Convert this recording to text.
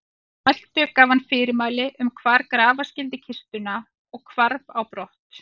Að svo mæltu gaf hann fyrirmæli um hvar grafa skyldi kistuna og hvarf á brott.